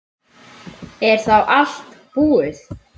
Er þá allt búið?